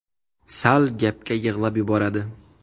Sal gapga yig‘lab yuboradi.